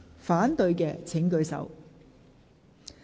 反對的請舉手。